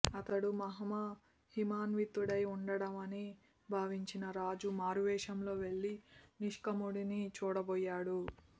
అతడు మహామహిమాన్వితుడై ఉంటాడని భావించిన రాజు మారువేషంలో వెళ్లి నిష్కాముడిని చూడబోయాడు